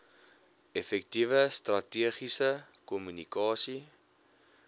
effektiewe strategiese kommunikasie